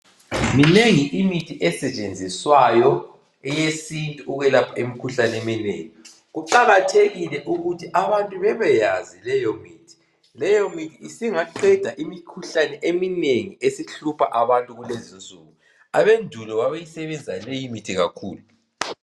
Minengi imithi esetshenziswayo eyesintu ukwelapha imkhuhlane eminengi kuqakathekile ukuthi abantu beebyazi leyomithi, leyomithi singaqeda imikhuhlane eminengi esihlupha abantu kulezinsuku abendulo babeyisebezisa leyimithi kakhulu.